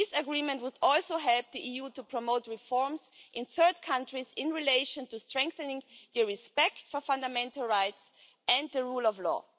This agreement would also help the EU to promote reforms in third countries in relation to strengthening respect for fundamental rights and the rule of law.